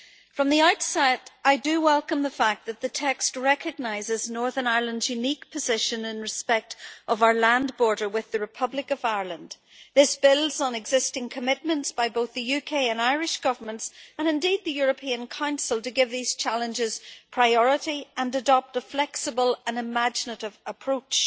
From the outset, I do welcome the fact that the text recognises Northern Ireland's unique position in respect of our land border with the Republic of Ireland. This builds on existing commitments by both the UK and Irish governments, and indeed the European Council, to give these challenges priority and adopt a flexible and imaginative approach.